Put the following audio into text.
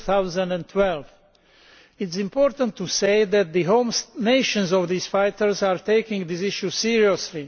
2012. It is important to say that the home nations of these fighters are taking this issue seriously.